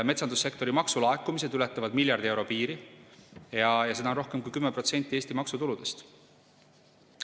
Metsandussektori maksulaekumised ületavad miljardi euro piiri ja see on rohkem kui 10% Eesti maksutuludest.